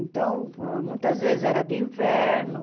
Então, muitas vezes era de inverno.